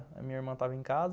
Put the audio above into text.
A minha irmã estava em casa.